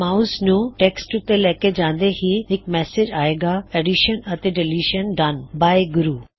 mouse ਨੂੰ text ਊੱਤੇ ਲੈਕੇ ਜਾਂਦੇ ਹੀ ਇਕ ਮੈਸੇਜ ਆਏਗਾ ਐਡੀਸ਼ਨ ਅਤੇ ਡਲਿਸ਼ਨ ਡਨ ਬਾਏ ਗੁਰੂ